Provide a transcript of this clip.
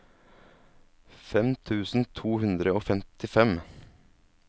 fem tusen to hundre og femtifem